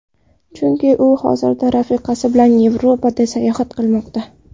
Chunki u hozirda rafiqasi bilan Yevropada sayohat qilmoqda.